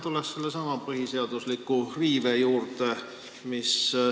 Ma tulen sellesama põhiseadusliku riive juurde.